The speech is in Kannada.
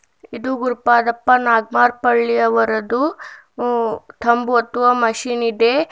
ಇದು ಗುರುಪಾದಪ್ಪ ನಾಗಮಾರಪಲ್ಲಿ ಅವರದು ಉ ತೊಂಬತ್ತುವ ಮಿಷಿನಿದೆ.